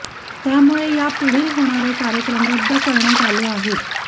त्यामुळे या पुढील होणारे कार्यक्रम रद्द करण्यात आले आहेत